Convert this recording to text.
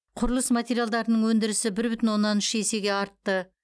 құрылыс материалдарының өндірісі бір бүтін оннан үш есеге артты